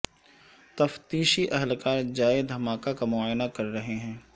تفتیشی اہلکار جائے دھماکہ کا معائنہ کر رہے ہیں